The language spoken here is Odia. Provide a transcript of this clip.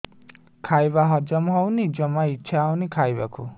ଖାଇବା ହଜମ ହଉନି ଜମା ଇଛା ହଉନି ଖାଇବାକୁ